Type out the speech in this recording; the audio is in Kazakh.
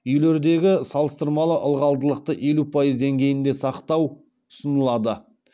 үйлердегі салыстырмалы ылғалдылықты елу пайыз деңгейінде сақтау ұсынылады